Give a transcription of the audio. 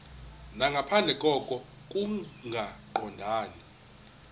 nangaphandle koko kungaqondani